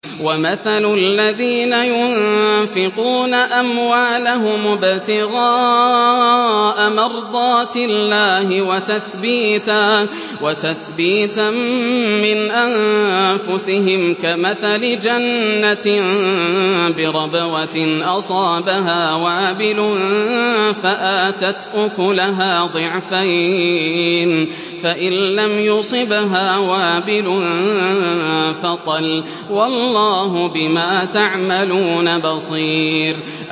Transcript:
وَمَثَلُ الَّذِينَ يُنفِقُونَ أَمْوَالَهُمُ ابْتِغَاءَ مَرْضَاتِ اللَّهِ وَتَثْبِيتًا مِّنْ أَنفُسِهِمْ كَمَثَلِ جَنَّةٍ بِرَبْوَةٍ أَصَابَهَا وَابِلٌ فَآتَتْ أُكُلَهَا ضِعْفَيْنِ فَإِن لَّمْ يُصِبْهَا وَابِلٌ فَطَلٌّ ۗ وَاللَّهُ بِمَا تَعْمَلُونَ بَصِيرٌ